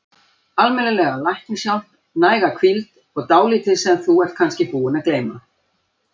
Almennilega læknishjálp, næga hvíld, og dálítið sem þú ert kannski búin að gleyma.